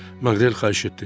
Maqrel xahiş etdi.